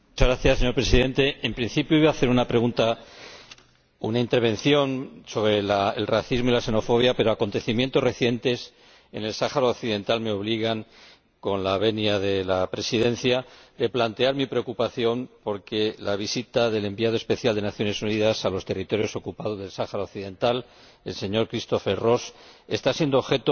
Señor Presidente, en principio, iba a hacer una intervención sobre el racismo y la xenofobia, pero acontecimientos recientes en el Sáhara Occidental me obligan ―con la venia de la Presidencia― a plantear mi preocupación porque la visita del Enviado especial de las Naciones Unidas a los territorios ocupados del Sáhara Occidental, el señor Christopher Ross, está siendo objeto